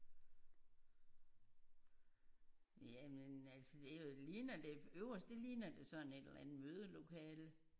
Ja men altså det er jo det ligner øverst det ligner da sådan et eller andet mødelokale